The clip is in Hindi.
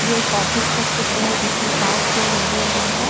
ये एक ऑफिस का चित्र है जिसमे पांच चेयर लगे हुए है।